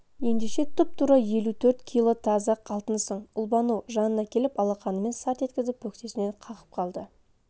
ендеше тұп-тура елу төрт кило таза алтынсың ұлбану жанына келіп алақанымен сарт еткізіп бөксесінен қағып қалды